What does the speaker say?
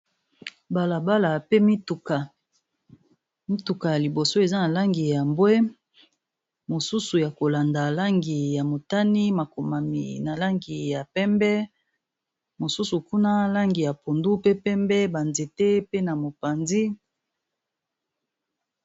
Balabala pe mituka ya liboso eza na langi ya mbwe mosusu ya kolanda langi ya motani makomami na langi ya pembe mosusu kuna langi ya pondu pe pembe ba nzete pe na mopanzi.